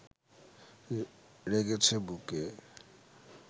রেগেছে বুকে